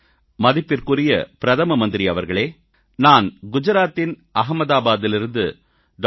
மதிப்பிற்குரிய பிரதம மந்திரி அவர்களே நான் குஜராத்தின் அகமதாபாத்திலிருந்து டா